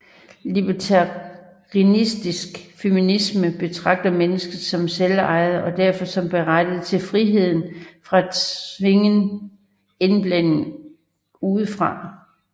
Libertarianistisk feminisme betragter mennesker som selvejende og derfor som berettiget til frihed fra tvingen indblanding udefra